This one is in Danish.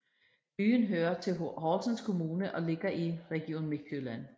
Byen hører til Horsens Kommune og ligger i Region Midtjylland